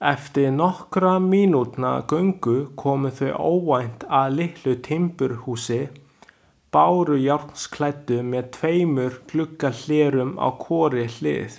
Eftir nokkurra mínútna göngu komu þeir óvænt að litlu timburhúsi, bárujárnsklæddu með tveimur gluggahlerum á hvorri hlið.